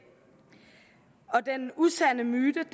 og den usande myte